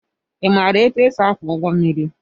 Imara etụ esị akwo ụgbọ mmiri?